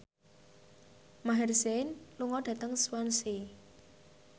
Maher Zein lunga dhateng Swansea